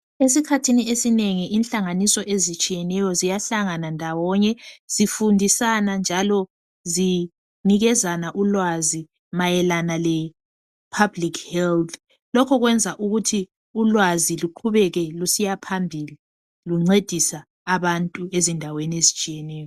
Esikhathini esinengi inhlanganiso ezitshiyeneyo ziyahlangana ndawonye. Zifundisa njalo zinikezana ulwazi mayelana le public health. Lokhu kwenza ukuthi ulwazi luqhubeke lusiyaphambili luncedisa abantu ezindaweni ezitshiyeneyo.